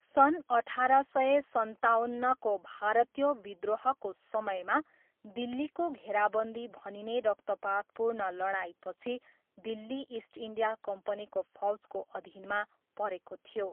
सन् अठार सय सन्ताउन्नको भारतीय विद्रोहको समयमा दिल्लीको घेराबन्दी भनिने रक्तपातपूर्ण लडाइँपछि दिल्ली इस्ट इन्डिया कम्पनीको फौजको अधीनमा परेको थियो।